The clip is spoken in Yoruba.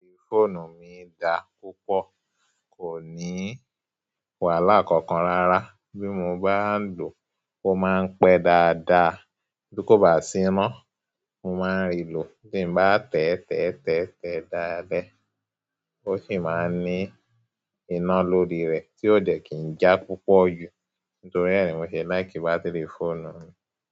Bátìrì fóònù mi dá púpọ̀, kò ní wàhálà kankan rárá. Bí mo bá lò ó, ó máa ń pẹ́ dáadáa. Tí kò bá sí iná, mo máa ń rìlò. Bí mo bá tẹ́tẹ́tẹ́tẹ́ dáadáa léè, ó sì máa ń ní iná lórí rẹ̀ tí ó jẹ́ kì í já púpọ̀ jù. Nítorí ré mo ṣe láì kí bátìrì fóònù mi.